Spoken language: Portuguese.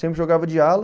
Sempre jogava de ala.